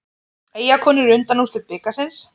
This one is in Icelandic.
Eyjakonur í undanúrslit bikarsins